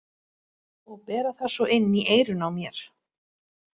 Og bera það svo inn í eyrun á mér!